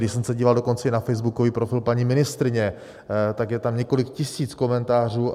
Když jsem se díval dokonce i na facebookový profil paní ministryně, tak je tam několik tisíc komentářů.